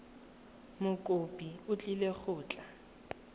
mokopi o tlile go tla